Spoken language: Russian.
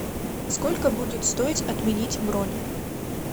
сколько будет стоить отменить бронь